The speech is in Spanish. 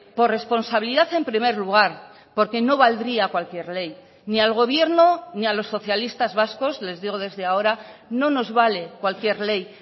por responsabilidad en primer lugar porque no valdría cualquier ley ni al gobierno ni a los socialistas vascos les digo desde ahora no nos vale cualquier ley